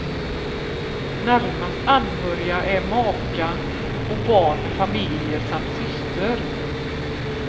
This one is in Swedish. Närmast anhöriga är maka och barn med familjer samt syster.